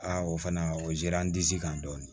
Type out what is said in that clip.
Aa o fana o diyara n disi kan dɔɔnin